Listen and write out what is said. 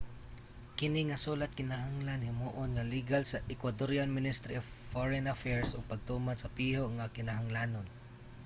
kini nga sulat kinahanglan himuon nga ligal sa ecuadorian ministry of foreign affairs ug pagtuman sa piho nga mga kinahanglanon